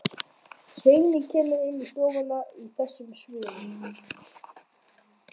Þú þráir hina ómenguðu kraftlausu uppgjöf.